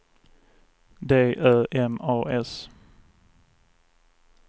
D Ö M A S